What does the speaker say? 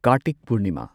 Kartik Purnima